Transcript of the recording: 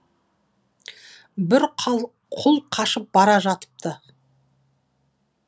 бір құл қашып бара жатыпты